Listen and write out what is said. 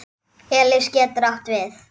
Elis getur átt við